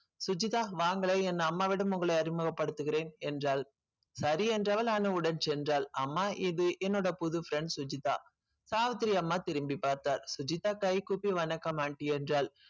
சுஜிதா வாங்களேன் என் அம்மாவிடம் உங்களை அறிமுகப் படுத்துகிறேன் என்றாள் சரி என்றவள் அனுவுடன் சென்றாள் அம்மா இது என்னோட புது friend சுஜிதா சாவித்திரி அம்மா திரும்பி பார்த்தார் சுஜிதா கை கூப்பி வணக்கம் aunty என்றாள்